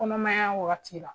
Kɔnɔmaya wagati la